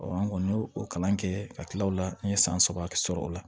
an kɔni y'o o kalan kɛ ka tila o la n ye san saba sɔrɔ o la